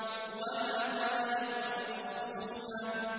وَنَمَارِقُ مَصْفُوفَةٌ